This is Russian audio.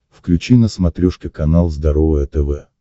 включи на смотрешке канал здоровое тв